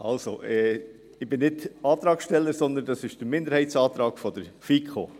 Also, ich bin nicht Antragssteller, sondern dies ist der Minderheitsantrag der FiKo.